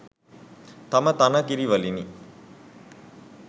තම තන කිරි වලිනි.